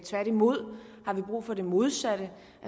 tværtimod har vi brug for det modsatte